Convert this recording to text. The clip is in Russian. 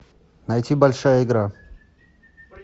найти большая игра